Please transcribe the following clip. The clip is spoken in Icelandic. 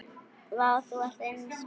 Vá, þú ert eins og.